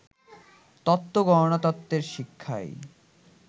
তত্ত্ব গণনা তত্ত্বের শিক্ষায়